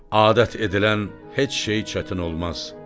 Adət edilən heç şey çətin olmaz.